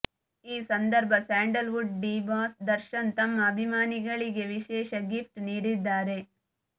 ಈ ಸಂದರ್ಭ sandalwood D boss Darshan ತಮ್ಮ ಅಭಿಮಾನಿಗಳಿಗೆ ವಿಶೇಷ ಗಿಪ್ಟ್ ನೀಡಿದ್ದಾರೆ